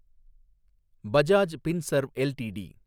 Bajaj Finserv LTD